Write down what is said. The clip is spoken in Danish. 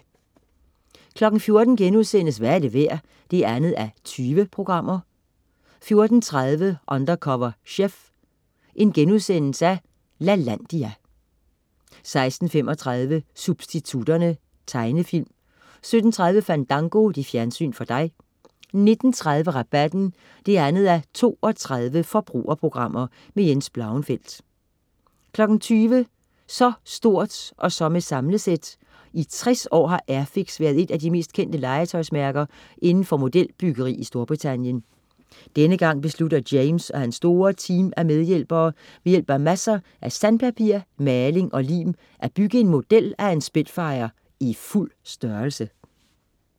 14.00 Hvad er det værd? 2:20* 14.30 Undercover chef. Lalandia* 16.35 Substitutterne. Tegnefilm 17.30 Fandango. Fjernsyn for dig 19.30 Rabatten 2:32. Forbrugerprogram. Jens Blauenfeldt 20.00 Så stort, og så med samlesæt. I tres år har Airfix været et af de mest kendte legetøjsmærker inden for modelbyggeri i Storbritannien. Denne gang beslutter James og hans store team af medhjælpere ved hjælp af masser af sandpapir, maling og lim at bygge en model af en Spitfire i fuld størrelse